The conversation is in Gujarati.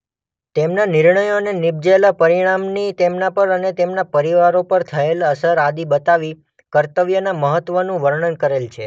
તેમના નિર્ણયો અને નીપજેલા પરિણામની તેમના પર અને તેમના પરિવારો પર થયેલ અસર આદિ બતાવી કર્તવ્યના મહત્વનું વર્ણન કરેલ છે.